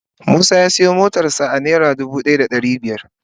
Musa ya siya motar sa naira dubu daya da dari biyar.